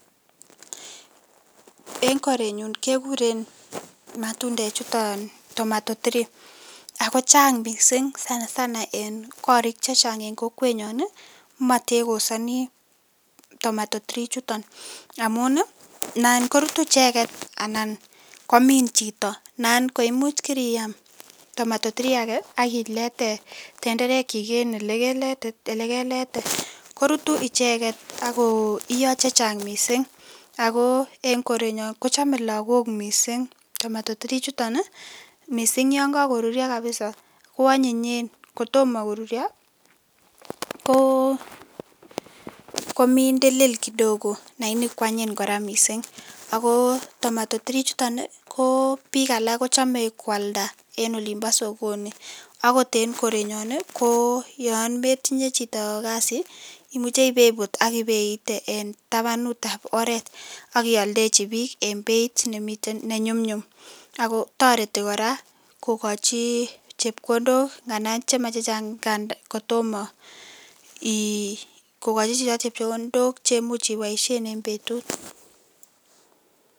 En korenyun keguren matundechuton tomatotirii ago chang missing sanasana en korik chechang en kokwenyon ko matekosani tomatotirii ichuton. Amun nan korutu ichegen anan komin chito anan ko imuch kiriam tomatotirii age ak ilete tenderekyik en elekete, korutu ichegen ak koiyo chechang mising ago en korenyon kochame lagok mising tomatotirii ichuton mising yon kagorurio kapisa koanyinyen. Kotoma korurio ko mindilil kidogo laini kwanyiny kora mising ago tomatotirii ichuton ko biik alak kochome kwalda en olimbo sogoni. Agot en korenyun, ko yon metinye chito kasi imuche ipeibut ak inyeite en tabanutab oret ak ioldechi biik eng beit ne chumnyum ago toreti kora kogai chepkondok nganda chemachechang, kogochi chito chepkondok che much iboisien en betut.